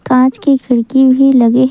कांच की खिड़की भी लगे हे।